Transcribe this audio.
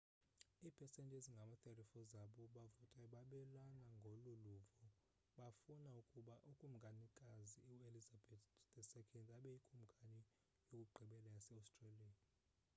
iipesenti ezingama-34 zabo bavotayo babelana ngolu luvo befuna ukuba ukumkanikazi uelizabeth ii abe yikumkani yokugqibela yase-australia